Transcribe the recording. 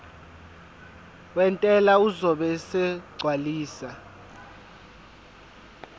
wentela uzobe esegcwalisa